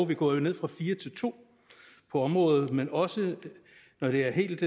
vi går jo ned fra fire til to på området men også når det er helt